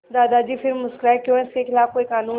दादाजी फिर मुस्कराए क्यों इसके खिलाफ़ कोई कानून है